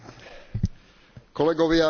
Dovoľte mi len jednu poznámku.